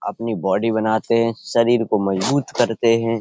अपनी बॉडी बनाते हैं। शरीर को मजबूत करते हैं।